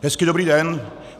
Hezký dobrý den.